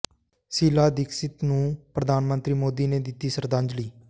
ਸ਼ੀਲਾ ਦੀਕਸ਼ਿਤ ਨੂੰ ਪ੍ਰਧਾਨ ਮੰਤਰੀ ਮੋਦੀ ਨੇ ਦਿੱਤੀ ਸ਼ਰਧਾਂਜਲੀ